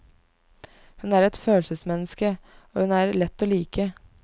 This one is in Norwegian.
Hun er et følelsesmenneske, og hun er lett å like.